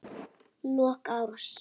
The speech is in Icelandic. Lok árs.